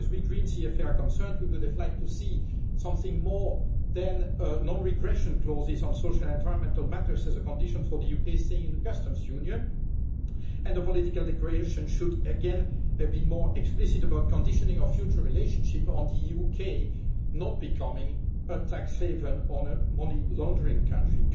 as far as we Greens EFA are concerned, we would have liked to see something more than non regression clauses on social and environmental matters as a condition for the UK staying in the customs union, and the political declaration should, again, have been more explicit about conditioning our future relationship on the UK not becoming a tax haven or a money laundering country.